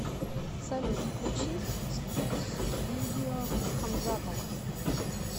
салют включи стьюдио хамзатова